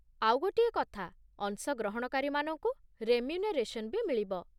ଆଉ ଗୋଟିଏ କଥା, ଅଂଶଗ୍ରହଣକାରୀମାନଙ୍କୁ ରେମ୍ୟୁନେରେସନ୍ ବି ମିଳିବ ।